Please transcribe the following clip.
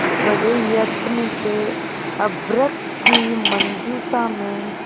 बड़े यत्न से अभ्र्रक की मंजुषा में